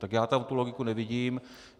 Tak já tam tu logiku nevidím.